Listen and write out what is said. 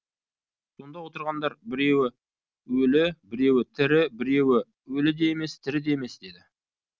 сонда отырғандар біреуі өлі біреуі тірі біреуі өлі де емес тірі де емес деді